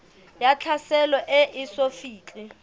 ya tlhaselo e eso fihle